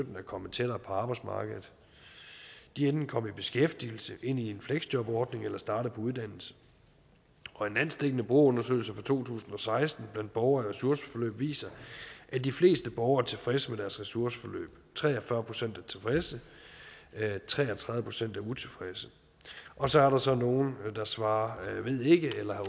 er kommet tættere på arbejdsmarkedet de er enten kommet i beskæftigelse ind i en fleksjobordning eller er startet på uddannelse og en landsdækkende brugerundersøgelse fra to tusind og seksten blandt borgere i ressourceforløb viser at de fleste borgere er tilfredse med deres ressourceforløb tre og fyrre procent er tilfredse tre og tredive procent er utilfredse og så er der så nogle der svarer ved ikke eller